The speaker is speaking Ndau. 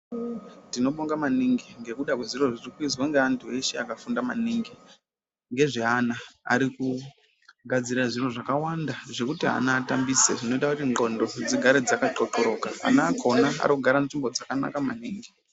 Tinobonga maningi ngekuda kwezviro zvirikuizwa ngeantu eshe akafunda maningi ngezveana arikugadzira zviro zvekuti ana atambise zvinoitawo kuti ndhlondo dzigare dzakaqhloqhloroka .Ana akona arikugare muzvimbo dzakanaka maningi